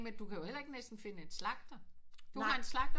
Men du kan jo heller ikke næsten finde en slagter du har en slagter